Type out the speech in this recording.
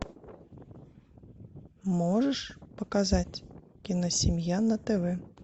можешь показать киносемья на тв